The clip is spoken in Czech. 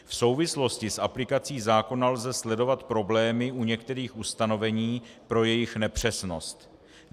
V souvislosti s aplikací zákona lze sledovat problémy u některých ustanovení pro jejich nepřesnost.